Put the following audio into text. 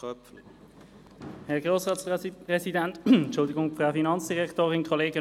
Ich bitte Sie deshalb, auf das Gesetz einzutreten.